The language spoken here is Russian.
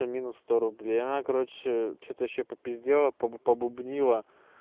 и минус сто рублей и она короче что-то ещё попиздела побубнила